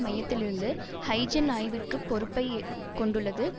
மையத்தில் இருந்து ஹைஜென் ஆய்விற்குப் பொறுப்பை கொண்டுள்ளது